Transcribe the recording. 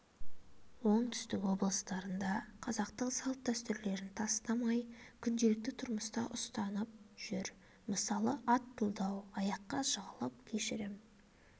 оңтүстік облыстарында қазақтың салт-дәстүрлерін тастамай күнделікті тұрмыста ұстанып жүр мысалы ат тұлдау аяққа жығылып кешірім